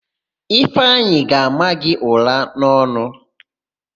Ifeanyị ga-ama gị ụ̀rá n'ọnụ.